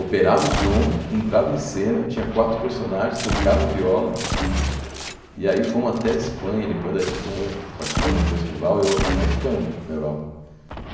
operava o som, entrava em cena, tinha quatro personagens, tocava viola, e aí fomos até a Espanha, depois da Espanha, participando de um festival, e eu aí ficamos na Europa.